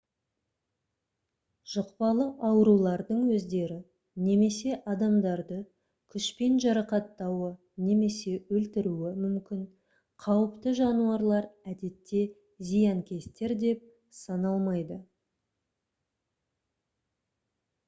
жұқпалы аурулардың өздері немесе адамдарды күшпен жарақаттауы немесе өлтіруі мүмкін қауіпті жануарлар әдетте зиянкестер деп саналмайды